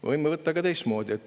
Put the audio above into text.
Me võime võtta ka teistmoodi.